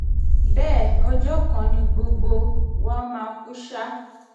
bẹ́ẹ̀ ọjọ́ kan ni gbogbo um wa mà kú ṣá